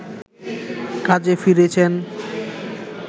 কাজে ফিরেছেন